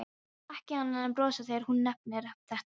Hann getur ekki annað en brosað þegar hún nefnir þetta.